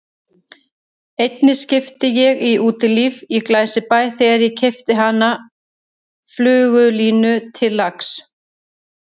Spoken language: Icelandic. Einni skipti ég í Útilífi í Glæsibæ þegar ég keypti fyrir hana flugulínu til lax